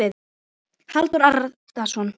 Halldór Arason.